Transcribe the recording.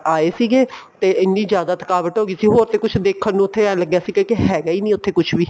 ਆਏ ਸੀਗੇ ਤੇ ਇੰਨੀ ਜਿਆਦਾ ਥਕਾਵਟ ਹੋ ਗਈ ਸੀ ਹੋਰ ਤੇ ਕੁੱਛ ਦੇਖਣ ਨੂੰ ਇਹ ਲੱਗਿਆ ਸੀ ਕੀ ਹੈਗਾ ਨਹੀਂ ਉੱਥੇ ਕੁੱਛ ਵੀ